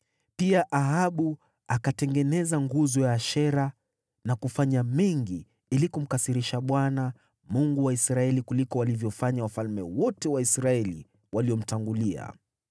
Pia Ahabu akatengeneza nguzo ya Ashera na kufanya mengi ili kumkasirisha Bwana , Mungu wa Israeli, kuliko walivyofanya wafalme wote wa Israeli waliomtangulia.